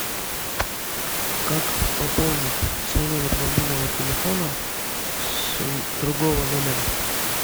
как пополнить свой номер мобильного телефона с другого номера